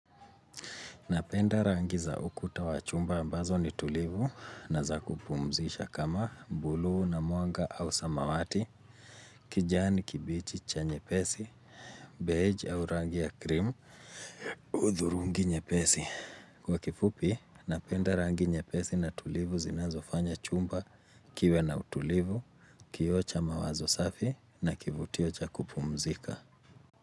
Napenda rangi za ukuta wa chumba ambazo ni tulivu na za kupumzisha kama blue na mwanga au samawati, kijani kibichi cha nyepesi, beige au rangi ya krimu, udhurungi nyepesi. Kwa kifupi, napenda rangi nyepesi na tulivu zinazofanya chumba kiwe na utulivu, kio cha mawazo safi na kivutio cha kupumzika.